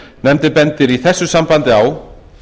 nefndin bendir í þessu sambandi á